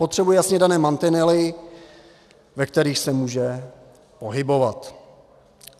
Potřebuje jasně dané mantinely, ve kterých se může pohybovat.